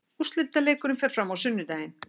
Úrslitaleikurinn fer fram á sunnudaginn.